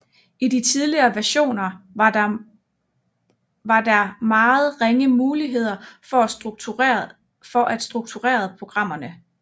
I de tidlige versioner var der meget ringe muligheder for at struktureret programmerne